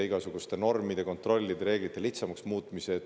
– igasuguste normide, kontrollida, reeglite lihtsamaks muutmise.